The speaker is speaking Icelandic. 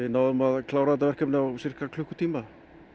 náðum að klára þetta verkefni á sirka klukkutíma